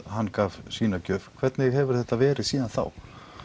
hann gaf sína gjöf hvernig hefur þetta verið síðan þá